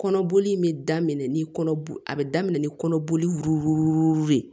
Kɔnɔboli in bɛ daminɛ ni kɔnɔ a bɛ daminɛ ni kɔnɔboli de ye